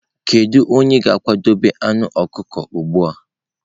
Kedu onye ga-akwadebe anụ ọkụkọ ugbu a?